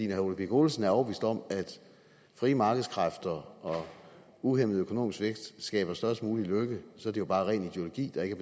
herre ole birk olesen er overbevist om at frie markedskræfter og uhæmmet økonomisk vækst skaber størst mulig lykke så er det jo bare ren ideologi der ikke